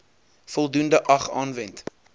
voldoende ag aanwend